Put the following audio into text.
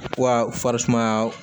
Wa farisumaya